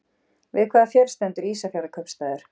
Við hvaða fjörð stendur Ísafjarðarkaupstaður?